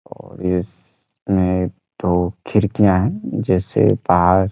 और इसमें दो खिड़कियाँ है जैसे पार --